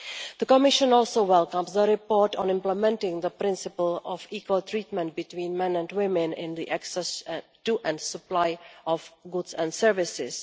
The Commission also welcomes the report on implementing the principle of equal treatment between men and women in the access to and supply of goods and services.